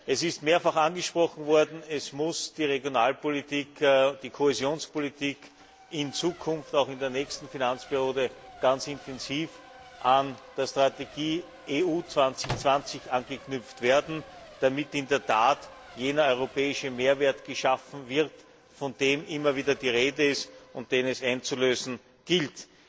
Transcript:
Es ist mehrfach angesprochen worden Die Regionalpolitik und die Kohäsionspolitik müssen in Zukunft auch in der nächsten Finanzperiode ganz intensiv an die Strategie EU 2020 anknüpfen, damit in der Tat jener europäische Mehrwert geschaffen wird, von dem immer wieder die Rede ist und den es einzulösen gilt.